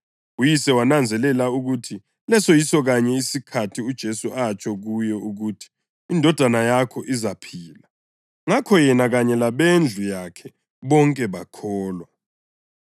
Uyise wananzelela ukuthi leso yiso kanye isikhathi uJesu atsho kuye ukuthi, “Indodana yakho izaphila.” Ngakho yena kanye labendlu yakhe bonke bakholwa.